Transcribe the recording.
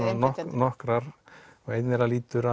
nokkrar og ein þeirra lítur